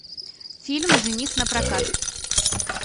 фильм жених напрокат